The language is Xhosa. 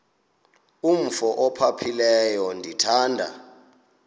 umf ophaphileyo ndithanda